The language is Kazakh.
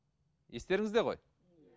естеріңізде ғой